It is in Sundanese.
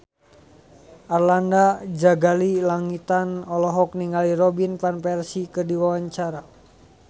Arlanda Ghazali Langitan olohok ningali Robin Van Persie keur diwawancara